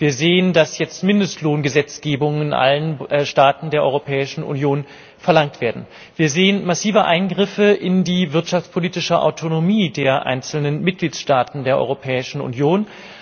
Wir sehen, dass jetzt Mindestlohngesetzgebungen in allen Staaten der Europäischen Union verlangt werden. Wir sehen massive Eingriffe in die wirtschaftspolitische Autonomie der einzelnen Mitgliedstaaten der Europäischen Union.